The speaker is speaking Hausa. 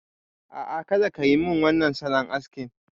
A'a, kada ka yi min wannan salon askin.